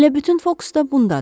Elə bütün fokus da bundadır.